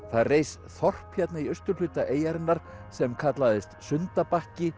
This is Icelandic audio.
það reis þorp hérna í austurhluta eyjarinnar sem kallaðist